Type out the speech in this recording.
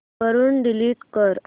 वरून डिलीट कर